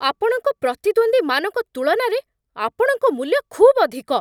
ଆପଣଙ୍କ ପ୍ରତିଦ୍ୱନ୍ଦ୍ୱୀମାନଙ୍କ ତୁଳନାରେ ଆପଣଙ୍କ ମୂଲ୍ୟ ଖୁବ୍ ଅଧିକ।